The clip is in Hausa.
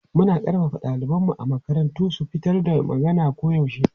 Muna ƙarfafa ɗalibanmu a makaranta su fitar da magana koyaushe.